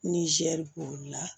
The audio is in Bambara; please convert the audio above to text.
Nizɛri kuru la